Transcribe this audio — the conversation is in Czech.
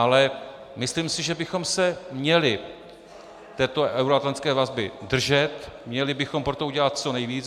Ale myslím si, že bychom se měli této euroatlantické vazby držet, měli bychom pro to udělat co nejvíc.